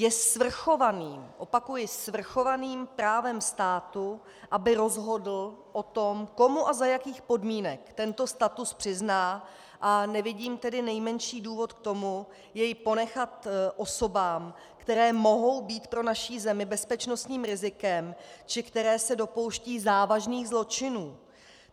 Je svrchovaným - opakuji, svrchovaným právem státu, aby rozhodl o tom, komu a za jakých podmínek tento status přizná, a nevidím tedy nejmenší důvod k tomu jej ponechat osobám, které mohou být pro naši zemi bezpečnostním rizikem či které se dopouštějí závažných zločinů.